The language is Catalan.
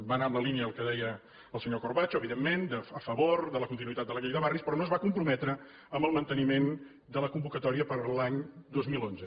va anar en la línia del que deia el senyor corbacho evidentment a favor de la continuïtat de la llei de barris però no es va comprometre en el manteniment de la convocatòria per a l’any dos mil onze